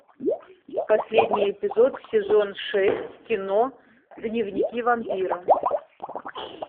последний эпизод сезон шесть кино дневники вампира